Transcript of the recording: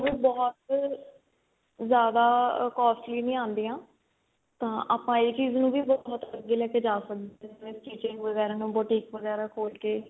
ਵੀ ਬਹੁਤ ਜਿਆਦਾ costly ਨਹੀਂ ਆਉਂਦੀਆਂ ਤਾਂ ਆਪਾਂ ਇਹ ਚੀਜ ਨੂੰ ਵੀ ਬਹੁਤ ਅੱਗੇ ਲੈ ਕੇ ਸਕਦੇ ਆ ਜਿਵੇਂ stitching ਵਗੈਰਾ ਨੂੰ boutique ਵਗੈਰਾ ਖੋਲ ਕੇ